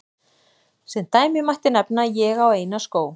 Sem dæmi mætti nefna: Ég á eina skó.